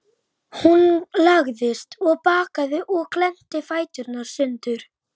Þar voru ágætar sturtur og margir speglar!